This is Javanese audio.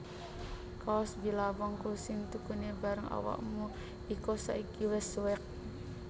Kaos Billabong ku sing tukune bareng awakmu iko saiki wes suwek